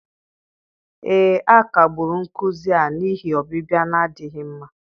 ee, a kagburu nkuzi a n'ihi ọbịbịa na-adịghị mma.